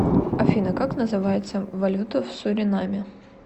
афина как называется валюта в суринаме